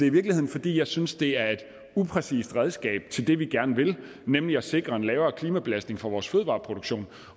i virkeligheden fordi jeg synes det er et upræcist redskab til det vi gerne vil nemlig at sikre en lavere klimabelastning fra vores fødevareproduktion